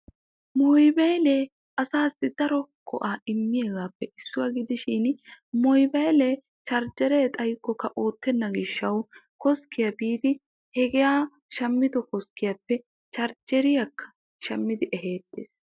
Mobaylle asaassi daro go'aa immiyaaga gidshin charjjeree baynnan ootenna gishawu koskkiya biiddi charjjeriya shameetees.